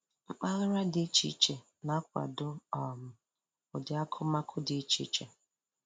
Mpaghara dị iche iche na-akwado um ụdị akumakụ dị iche iche.